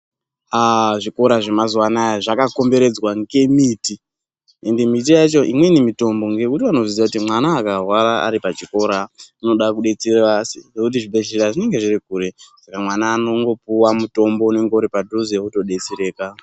Zvikora zvemazuwa anaya zvakakomberedzwa ngemiti ende miti yacho imweni mitombo ngekuti vanoziya kuti mwana akarwara ari pachikora unoda kudetsera ngekuti zvibhehlera zvinenge zviri kure Saka mwana anongopiwa mutombo unenge uri padhuze otodetsereka.